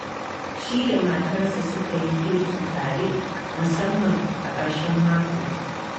Shi da matarsa sukan yi girki tare, musamman a ƙarshen mako.